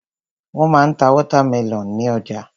Wọ́n ma ń ta wọ́támẹlọ̀n ní ọjà.